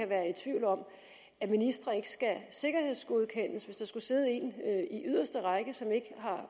være i tvivl om at ministre ikke skal sikkerhedsgodkendes hvis der skulle sidde en i yderste række som ikke har